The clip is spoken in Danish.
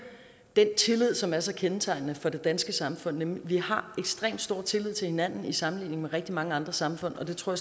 den tillid som er så kendetegnende for det danske samfund vi har ekstrem stor tillid til hinanden i sammenligning med rigtig mange andre samfund og det tror